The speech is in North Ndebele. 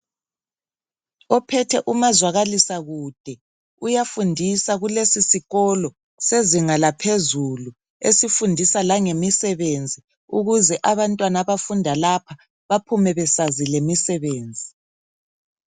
Ophethe umazwakalisa kude uyafundisa kulesi sikolo sezinga laphezulu esifundisa langemisebenzi ukuze abantwana abafunda lapha baphume besazi lemisebenzi.